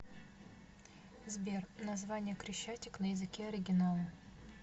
сбер название крещатик на языке оригинала